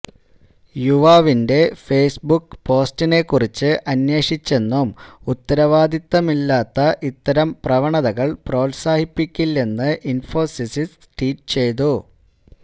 യുവാവിന്റെ ഫേസ്ബുക്ക് പോസ്റ്റിനെക്കുറിച്ച് അന്വേഷിച്ചെന്നും ഉത്തരവാദിത്തമില്ലാത്ത ഇത്തരം പ്രവണതകള് പ്രോത്സാഹിപ്പിക്കില്ലെന്ന് ഇന്ഫോസിസ് ട്വീറ്റ് ചെയ്തു